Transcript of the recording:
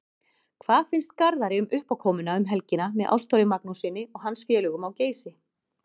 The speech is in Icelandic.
Hvað finnst Garðari um uppákomuna um helgina með Ástþóri Magnússyni og hans félögum á Geysi?